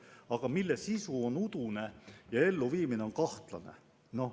Aga strateegia sisu on udune ja elluviimine kahtlane.